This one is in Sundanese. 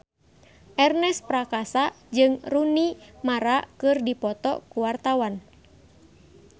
Ernest Prakasa jeung Rooney Mara keur dipoto ku wartawan